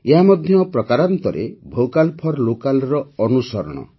ଏହା ମଧ୍ୟ ପ୍ରକାରାନ୍ତରେ ଭୋକାଲ୍ ଫର୍ ଲୋକାଲ୍ର ଅନୁସରଣ